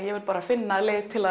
bara finna leið til